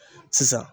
Sisan